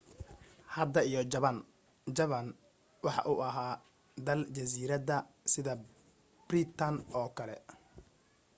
hadda iyo jabaan jabaan waxaa uu ahaa dal jasiirada sida biritan oo kale